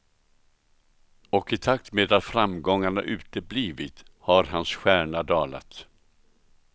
Och i takt med att framgångarna uteblivit har hans stjärna dalat.